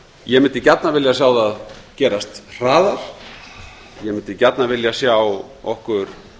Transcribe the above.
ég mundi gjarnan vilja sjá það gerast hraðar ég mundi gjarnan vilja sjá okkur